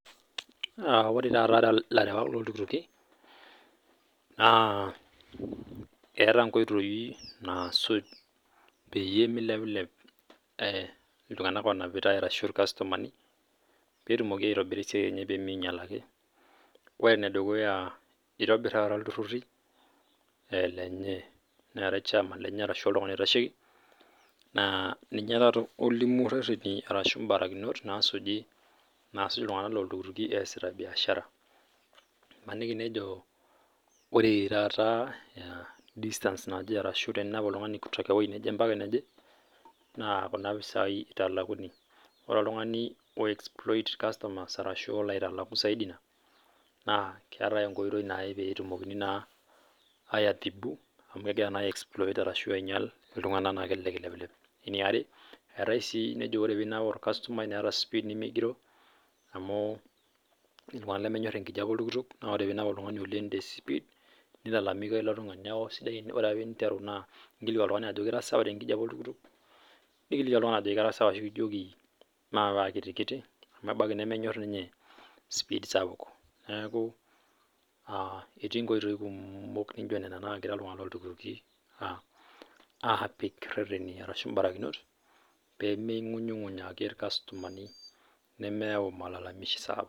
Ore taatalarewak loo iltukutuki Neeta nkoitoi nasuj pee milepilep iltung'ana onapitai ashu irkastomani petum aitobira esiai enye pee minyial ake ore ene dukuya naa kitobir taa iltururi lenye Neeta chairman lenye ashu oltung'ani oitasheki naa ninye olimu reteni ashu mbarakinot masuj iltung'ana loo iltukutuki esita biashara emanaki ejo ore taata distance naaje ashu teninap oltung'ani kutoka ene naa Kuna pisai[eitalakuni ore oltung'ani oixiploid irkastomas ashu olo aitaleku zaidi ena naa keetae enkoitoi petumoki aitibu amu kegira naaji exploid iltung'ana ashu ainyial naa kelelek eilepilep niari etae sii ore oinap orkastomai netaa speed nimigiroo amu ketii iltung'ana lemenyor enkijiape oltukutuk naa ore pee enap oltung'ani tespeed nilalamika oltung'ani neeku ore pee enteru ningilikua oltung'ani ajoki etisawa tenkijiape nikiliki oltung'ani ajoki katii sawa ashu maape akiti kiti amu ebaiki nemenyor ninye speed sapuk neeku ketii nkoitoi kumok naijio Nena nagira iltung'ana loo iltukutuki apik reteni ashu barakinot pee mingunyunguny ake irkastomani nemeyau malalamishi sapuk